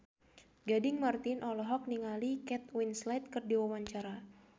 Gading Marten olohok ningali Kate Winslet keur diwawancara